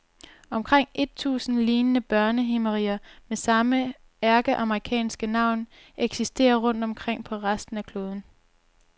Omkring et tusind lignende børnehimmeriger med samme ærkeamerikanske navn eksisterer rundt omkring på resten af kloden.